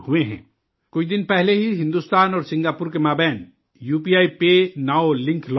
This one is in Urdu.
کچھ دن پہلے ہی ہندوستان اور سنگاپور کے درمیان U P I PayNow link launch کیا گیا